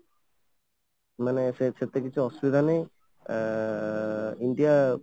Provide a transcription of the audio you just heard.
ମାନେ ସେତେ କିଛି ଅସୁବିଧା ନାହିଁ ଆଁ india